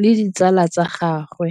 le ditsala tsa gagwe.